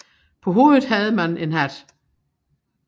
På hovedet havde man en hat